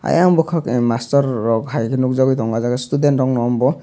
ayang bokak em master rok haike nogjagoi tongo o jaga student rok no ambo.